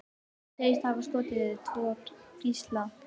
Segist hafa skotið tvo gísla